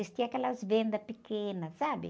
Existiam aquelas vendas pequenas, sabe?